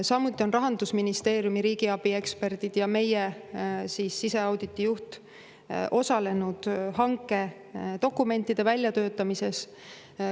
Samuti on Rahandusministeeriumi riigiabi eksperdid ja meie siseauditi juht osalenud hankedokumentide väljatöötamises.